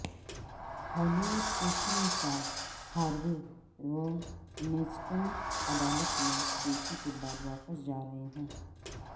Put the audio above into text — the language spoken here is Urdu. ہالی وڈ کے فلم ساز ہاروے ونسٹین عدالت میں پیشی کے بعد واپس جارہے ہیں